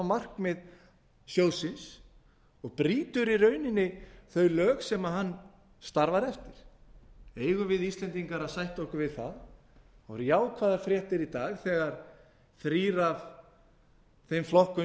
á markmið sjóðsins og brýtur í rauninni þau lög sem hann starfar eftir eigum við íslendingar að sætta okkur við það það voru jákvæðar fréttir í dag þegar þrír af þeim flokkum